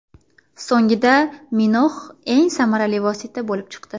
So‘nggida Minox eng samarali vosita bo‘lib chiqdi.